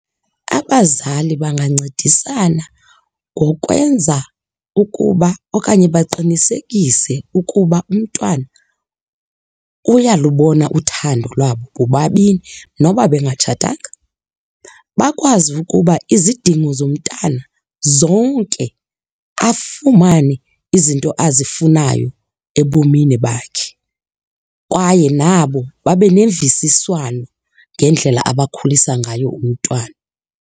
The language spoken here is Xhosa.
Abazali bangancedisana ngokwenza ukuba okanye baqinisekise ukuba umntwana uyalubona uthando lwabo bobabini noba bengatshatanga. Bakwazi ukuba izidingo zomntana zonke afumane izinto azifunayo ebomini bakhe kwaye nabo babe nemvisiswano ngendlela abakhulisa ngayo umntwana.